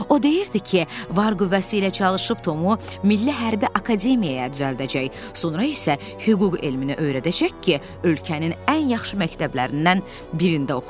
O deyirdi ki, var qüvvəsi ilə çalışıb Tomu milli hərbi akademiyaya düzəldəcək, sonra isə hüquq elmini öyrədəcək ki, ölkənin ən yaxşı məktəblərindən birində oxusun.